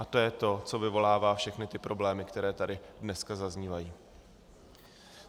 A to je to, co vyvolává všechny ty problémy, které tady dneska zaznívají.